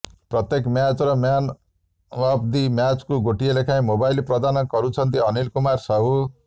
ପ୍ରତେକ ମ୍ୟାଚର man of the ମ୍ୟାଚକୁ ଗୋଟିଏ ଲେଖାଏଁ ମୋବାଇଲ ପ୍ରଦାନ କରୁଛନ୍ତି ଅନିଲ କୁମାର ସାହୁ